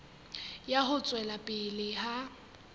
ya ho tswela pele ha